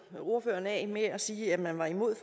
ordføreren af med at sige at man var imod